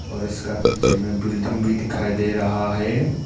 और इसका पीछे में बिल्डिंग भी दिखाई दे रहा है।